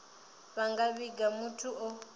vha nga vhiga muthu o